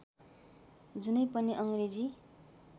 जुनै पनि अङ्ग्रेजी